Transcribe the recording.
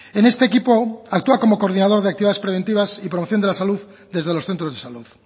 en este equipo actúa como coordinador de actividades preventivas y promoción de la salud desde los centros de salud